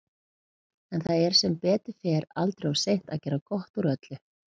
En það er sem betur fer aldrei of seint að gera gott úr öllu.